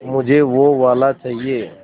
मुझे वो वाला चाहिए